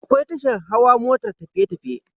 Akwai tashar Hawa motar tafiye tafiye